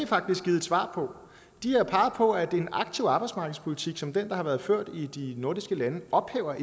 faktisk givet et svar på de har peget på at en aktiv arbejdsmarkedspolitik som den der har været ført i de nordiske lande ophæver